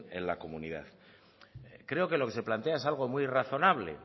en la comunidad creo que lo que se plantea es algo muy razonable